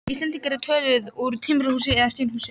Íslendings eru þau töluð úr timburhúsi eða steinhúsi.